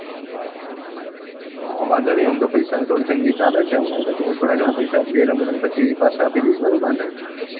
હા વાંધો ની આમ તો પૈસા ની થોડા ઘણી તંગી ચાલે હમણાં તું મને થોડા ઘણાં પૈસા આપજે પછી હું તને પાછા આપી દઈસ બરોબર ને?